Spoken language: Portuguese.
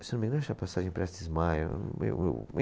Não me lembro passagem Prestes Maia? Eu, eu